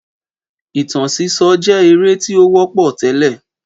Ìtàn sísọ jé eré tí ó wọ́pọ̀ tẹ́lẹ̀